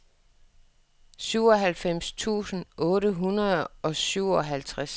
syvoghalvfems tusind otte hundrede og syvoghalvtreds